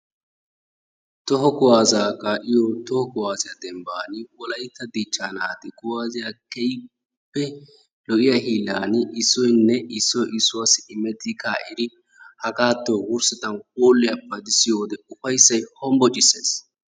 Toho kuwaassiya ka'yo toho kuwassiya dembban wolaytta dichcha naatti kuwassiya keehippe lo'yaa hilani issoynne issoi issuwassi imetti kaa'd hagatto wursettan hoolliyaa paydissiyo wode ufayssay hombocisses.